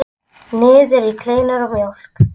Niður í kleinur og mjólk.